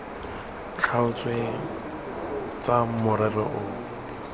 tlhaotsweng tsa morero o o